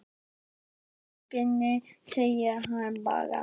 Ég skila bókinni, segir hann bara.